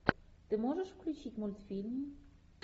ты можешь включить мультфильм